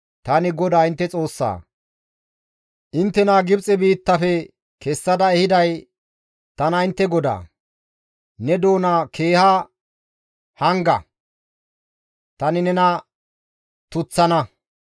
Tani GODAA intte Xoossaa; inttena Gibxe biittafe kessada ehiday tana intte GODAA; ne doona keeha hanga; tani nena tuththana.